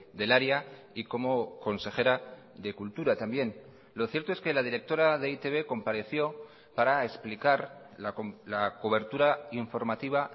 del área y como consejera de cultura también lo cierto es que la directora de e i te be compareció para explicar la cobertura informativa